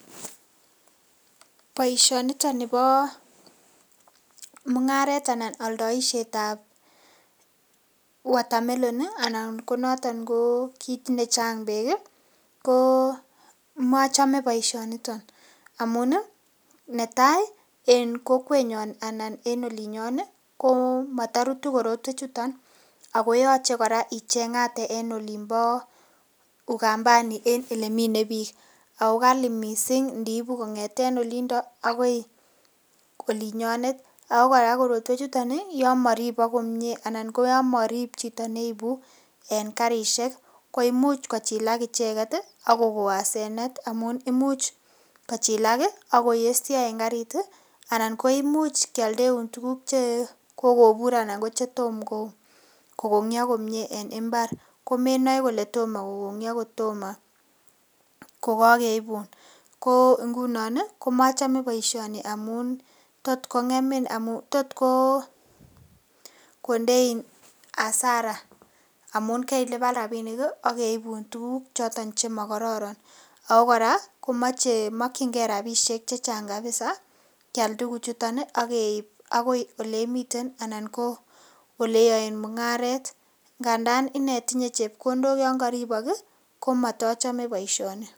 Boisionito nibo mung'aret anan oldoishet ab water melon anan ko noton ko kit ne chang beek ko mochome boisionito amun netai en kokwenyon anan en olinyon ko motorutu korotwechuto ago yoche kora icheng'ate en olinbo Ukambani en ele mine biik ago kali mising indi ibu kong'eten olindo agoi olinyonet. Ago kora korotwechuton yon moribok komie anan ko yon morib chito neibu en karishek koimuch kochilak icheget ak kogon hasenet amun imuch kochilak ak koyesho en karit anan koimuch kealdeun tuguk che kogobur anan ko che tom ko kong'yo komie en mbar komenoe kole tomo kogongyo ko kogeibun ko ngunon komochome boisioni amun tot kong'emin, tot kondein hasara amun keilipan rabinik ak keibun tuguk choton chemokororon ago kora komoche, mokinge rabishek che chang kabisa keal tuguchuto ak keib agoiole imiten anan ko ole iyoen mung'aret ngandan ine tinye chepkondok yon koribok komotochome boisioni.